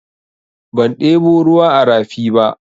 Ban ɗebo ruwa a rafi ba.